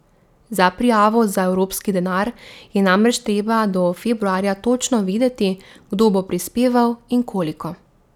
Za prijavo za evropski denar je namreč treba do februarja točno vedeti, kdo bo prispeval in koliko.